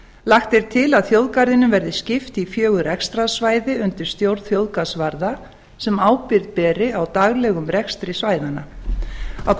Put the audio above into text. lagt er til að þjóðgarðinum verði skipt í fjögur rekstrarsvæði undir stjórn þjóðgarðsvarða sem ábyrgð beri á daglegum rekstri svæðanna á